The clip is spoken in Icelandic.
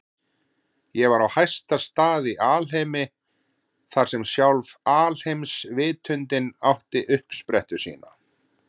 Ég var á hæsta stað í alheimi, þar sem sjálf alheimsvitundin átti uppsprettu sína.